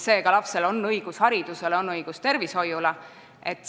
Seega on lapsel õigus haridusele ja tervishoiule.